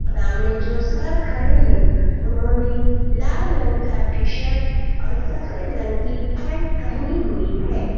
सामने जो सर खड़े हैं उन्होंने लाल रंग का टी शर्ट और सफेद रंग की पैंट पहनी हुई है।